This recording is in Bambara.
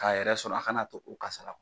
K'a yɛrɛ sɔrɔ, a kana to o kasara